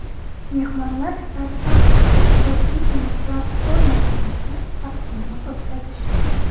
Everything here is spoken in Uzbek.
Mehmonlar startap ekotizimi platformasi buyicha taqdimot o‘tkazishdi.